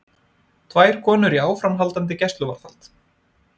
Tvær konur í áframhaldandi gæsluvarðhald